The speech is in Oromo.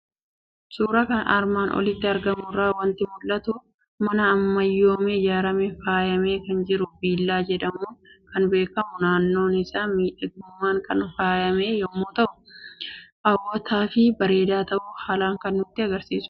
Suuraa armaan olitti argamu irraa waanti mul'atu; mana ammayyoome ijaaramee faayamee kan jiru Villaa jedhamuun kan beekamu naannoon isaa miidhagummaan kan faayame yommuu ta'u, hawwatafi bareeda ta'uu haalan kan nutti agarsiisudha.